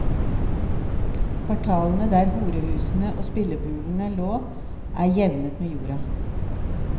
Kvartalene der horehusene og spillebulene lå er jevnet med jorda.